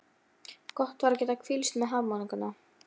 Þeir keyrðu hesta sína sporum og létu svipurnar ganga viðstöðulaust.